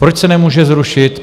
Proč se nemůže zrušit?